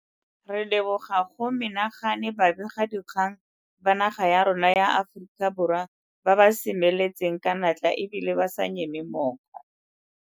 Re leboga go menagane ba begadikgang ba naga ya rona ya Aforika Borwa ba ba semeletseng ka natla e bile ba sa nyeme mooko.